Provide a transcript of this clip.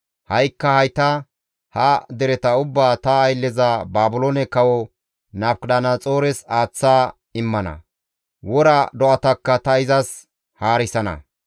Ha7ikka hayta ha dereta ubbaa ta aylleza Baabiloone kawo Nabukadanaxoores aaththa immana; wora do7atakka ta izas haarisana.